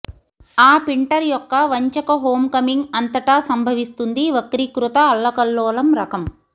ఆ పిన్టర్ యొక్క వంచక హోమ్కమింగ్ అంతటా సంభవిస్తుంది వక్రీకృత అల్లకల్లోలం రకం